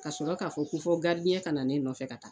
Kasɔrɔ ka fɔ ko fɔ ka na ne nɔfɛ ka taa.